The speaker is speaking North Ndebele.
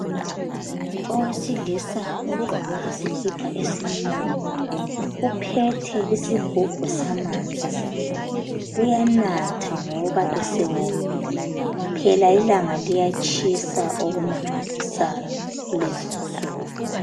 Owesilisa ogqoke isikipa esimnyama uphethe isigubhu samanzi uyanatha ngoba esewomile phela ilanga liyatshisa okumangalisayo kulezi insuku.